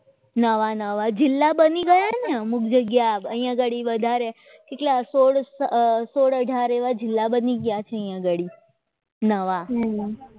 નવા નવા જિલ્લા બની ગયા અને અમુક જગ્યા અહીં આગળ વધારે સોડ સોડ અથાર એવા જિલ્લા બની ગયા છે આંગળી નવા